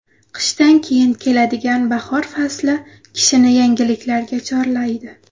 Qishdan keyin keladigan bahor fasli kishini yangiliklarga chorlaydi.